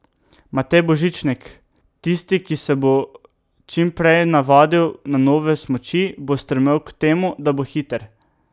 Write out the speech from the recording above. Matej Božičnik: 'Tisti, ki se bo čim prej navadil na nove smuči, bo stremel k temu, da bo hiter.